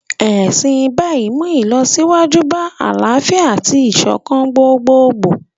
Ẹ̀sìn Báì ń mú ìlọsíwájú bá àlàáfíà àti ìṣọ̀kan gbogboogbò